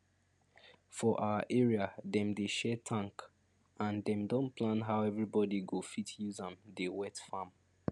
for our area dem dey share tank and dem don plan how everyone go fit use am dey wet farm